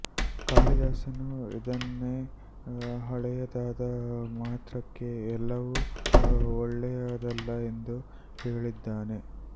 ಕಾಳಿದಾಸನು ಇದನ್ನೇ ಹಳೆಯದಾದ ಮಾತ್ರಕ್ಕೆ ಎಲ್ಲವೂ ಒಳ್ಳೆಯದಲ್ಲ ಎಂದು ಹೇಳಿದಾನೆ